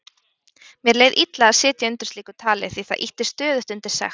Mér leið illa að sitja undir slíku tali því það ýtti stöðugt undir sekt